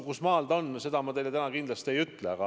Kusmaal see on, seda ma teile täna ei ütle.